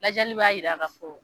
Lajɛli b'a jira k'a fo